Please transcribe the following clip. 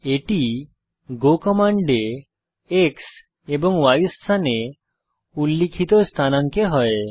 এটি গো কমান্ডে X এবং Y স্থানে উল্লিখিত স্থানাঙ্ক এ হয়